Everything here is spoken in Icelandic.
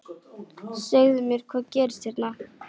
Segðu mér, hvað gerðist hérna?